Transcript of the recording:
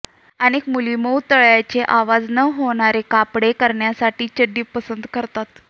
अनेक मुली मऊ तळव्यांचे आवाज न होणारे कापड करण्यासाठी चड्डी पसंत करतात